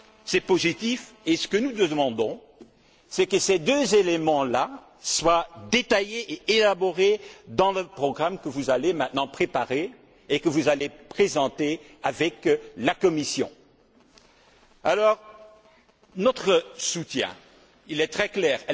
C'est positif, et ce que nous demandons, c'est que ces deux éléments là soient détaillés et élaborés dans le programme que vous allez maintenant préparer et que vous allez présenter avec la Commission. Notre soutien est très clair.